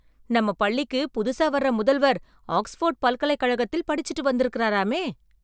நம்ம பள்ளிக்கு புதுசா வர்ற முதல்வர் ஆக்ஸ்போர்டு பல்கலைக்கழகத்தில் படிச்சிட்டு வந்திருக்கிறாராமே!